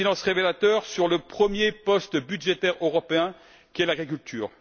Un silence révélateur sur le premier poste budgétaire européen qu'est l'agriculture.